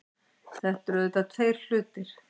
Þetta eru auðvitað tveir hlutir